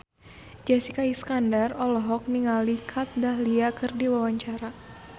Jessica Iskandar olohok ningali Kat Dahlia keur diwawancara